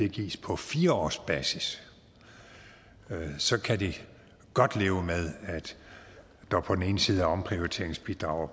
gives på fire års basis for så kan de godt leve med at der på ene side er omprioriteringsbidrag